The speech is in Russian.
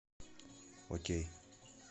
окей